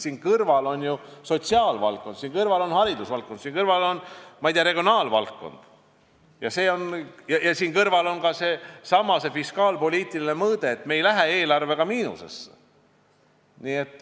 Siin kõrval on ju sotsiaalvaldkond, siin kõrval on haridusvaldkond, siin kõrval on, ma ei tea, regionaalvaldkond ja siin kõrval on ka seesama fiskaalpoliitiline mõõde, et eelarvega ei mindaks miinusesse.